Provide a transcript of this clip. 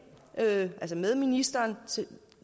altså med ministeren